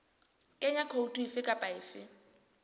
kenya khoutu efe kapa efe